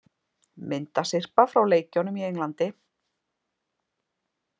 Myndasyrpa frá leikjunum í Englandi